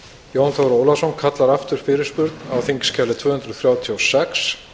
jón þór ólafsson kallar aftur fyrirspurn á þingskjali tvö hundruð þrjátíu og sex